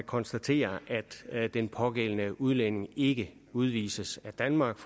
konstatere at den pågældende udlænding ikke udvises af danmark